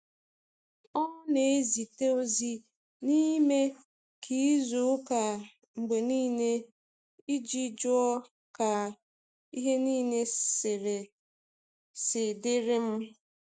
Ọ na ezite ozi n’ime izu ụka mgbe niile iji jụọ ka ihe niile si dịrị m.